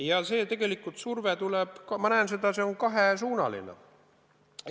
Ja see surve on tegelikult kahesuunaline.